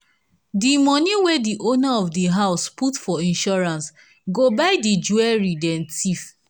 di money wey di owner of di house put for insurance go buy di jewelry them steal.